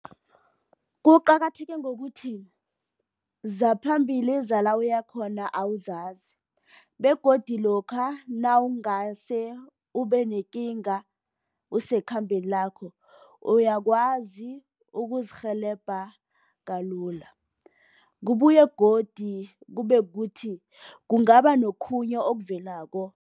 Kuqakatheke ngokuthi, zaphambili zala uyakhona awuzazi begodu lokha nawungase ube nekinga usekhambeni lakho uyakwazi ukuzirhelebha kalula. Kubuye godu kube kuthi kungaba nokhunye okuvelako.